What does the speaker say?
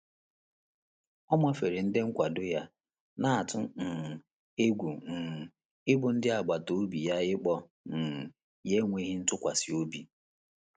Ọ́ màférè ndị́ òtù nkwàdò yá, nà-àtụ́ um égwú um ị́bụ́ ndị́ àgbàtà òbí yá ị́kpọ́ um yá énwéghị́ ntụ́kwàsị́ óbí.